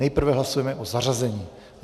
Nejprve hlasujeme o zařazení.